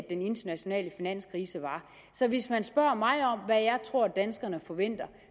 internationale finanskrise var så hvis man spørger mig om hvad jeg tror danskerne forventer